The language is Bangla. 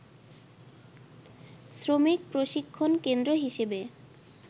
শ্রমিক প্রশিক্ষণ কেন্দ্র হিসেবে